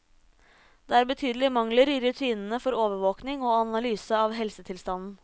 Det er betydelige mangler i rutinene for overvåking og analyse av helsetilstanden.